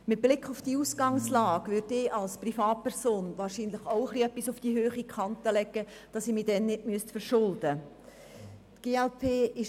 Mit Blick auf diese Ausgangslage würde ich als Privatperson wahrscheinlich auch etwas auf die hohe Kante legen, damit ich mich später nicht verschulden muss.